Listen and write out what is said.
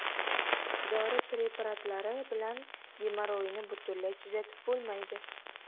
Dori preparatlari bilan gemorroyni butunlay tuzatib bo‘lmaydi.